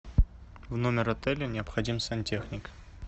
в номер отеля необходим сантехник